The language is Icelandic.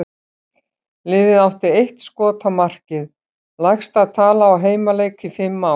Liðið átti eitt skot á markið, lægsta tala á heimaleik í fimm ár.